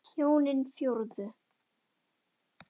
Þú varst mér svo dýrmæt.